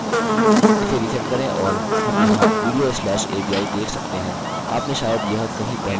इसे resend करें और और हम यहाँ video slash avi देख सकते हैं आप ने शायद यह कहीं पहले html में भी देखा होगा